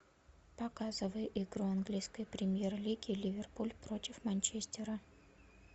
показывай игру английской премьер лиги ливерпуль против манчестера